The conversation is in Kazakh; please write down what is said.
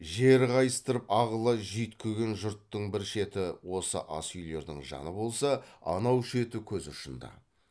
жер қайыстырып ағыла жүйткіген жұрттың бір шеті осы ас үйлердің жаны болса анау шеті көз ұшында